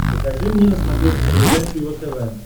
покажи мне на смотрешке передачу его тв